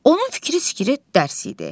Onun fikri-zikri dərs idi.